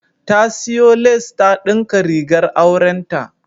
Ta siyo lace ta dinka rigar aurenta.